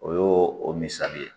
O y'o o misali ye